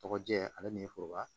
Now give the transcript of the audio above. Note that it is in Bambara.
Tɔgɔ jɛ ale ni foroba